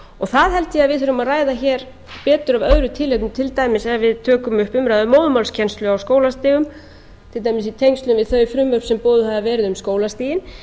það held ég að við þurfum að ræða hér betur af öðru tilefni til dæmis ef við tökum upp umræðu um móðurmálskennslu á skólastigum til dæmis í tengslum við þau frumvörp sem boðuð hafa verið um skólastigin